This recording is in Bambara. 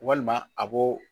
Walima a b'o